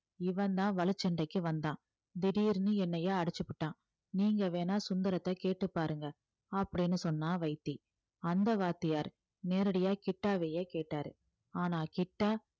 இவன்தான் வழிச்சண்டைக்கு வந்தான் திடீர்ன்னு என்னைய அடிச்சுப்புட்டான் நீங்க வேணா சுந்தரத்தை கேட்டு பாருங்க அப்படீன்னு சொன்னான் வைத்தி அந்த வாத்தியார் நேரடியா கிட்டாவையே கேட்டாரு ஆனா கிட்டா